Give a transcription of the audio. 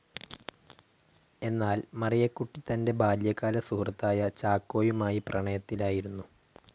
എന്നാൽ മറിയക്കുട്ടി തൻ്റെ ബാല്യകാല സുഹൃത്തായ ചാക്കോയുമായി പ്രണയത്തിലായിരുന്നു.